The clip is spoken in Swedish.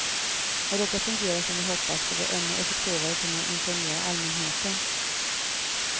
När detta fungerar som vi hoppas ska vi ännu effektivare kunna informera allmänheten.